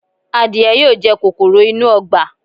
Adìẹ yóò jẹ kòkòrò inú ọgbà.